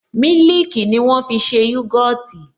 Mílìkì ni wọ́n fi ṣe yogọtì